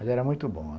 Mas era muito bom.